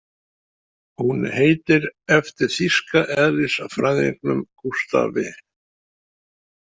Hún heitir eftir þýska eðlisfræðingnum Gústafi.